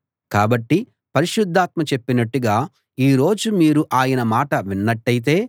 కాబట్టి పరిశుద్ధాత్మ చెప్పినట్లుగా ఈ రోజు మీరు ఆయన మాట విన్నట్టయితే